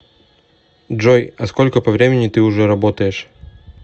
джой а сколько по времени ты уже работаешь